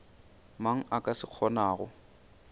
mang a ka se kgonago